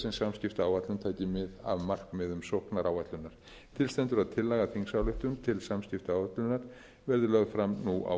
sem samskiptaáætlun taki mið af markmiðum sóknaráætlunar til stendur að tillaga að þingsályktun til samskiptaáætlunar verði lögð fram nú á